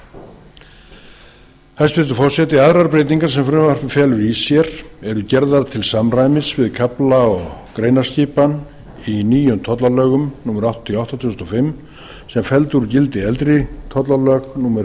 á hæstvirtur forseti aðrar breytingar sem frumvarpið felur í sér eru gerðar til samræmis við kafla og greinaskipan í nýjum tollalögum númer áttatíu og átta tvö þúsund og fimm sem felldu úr gildi eldri tollalög númer